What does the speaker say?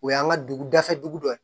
O y'an ka dugu dafɛ dugu dɔ ye